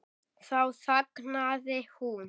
Þá þagnaði hún.